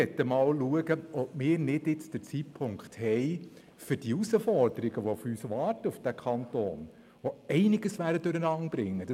Wir möchten schauen, ob jetzt der Zeitpunkt gekommen ist, die Herausforderungen anzugehen, die auf diesen Kanton warten und die einiges durcheinanderbringen werden.